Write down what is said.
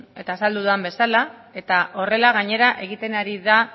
eta azaldu dudan bezala eta horrela gainera egiten ari da